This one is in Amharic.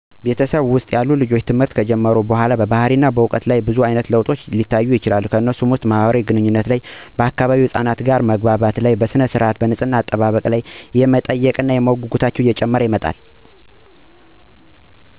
በቤተሰብ ውስጥ ያሉ ልጆች ትምህርት ከጀመሩ በኋላ በባህሪና በዕውቀት ላይ ብዙ አይነት ለውጦች ሊታዩ ይችላሉ። ከነሱም ውስጥ በትምህርታቸው ምክንያት በማህበራዊ ግንኙነት ላይ የሚታዩ ለውጦች፤ ከአካባቢው ህፃናት ጋር መማማር እና መግባባት እንዲችሉ፣ በሥነ-ስርዓት ላይ የሚታዩ ለውጦች፤ ንፅህናን መጠበቅ፣ መታጠብ እንዲሁም ቤተሰብ ትእዛዝ መታዘዝ ይማራሉ። ሌላው በማወቅ ጉጉት እና በልምድ ላይ ሚታዩ ለውጦች ሲሆኑ ነገሮችን ማብራሪያ መጠየቅ፣ ለማወቅ ፍላጎት እና ጥያቄ መቀስቀስ ይጨመራሉ።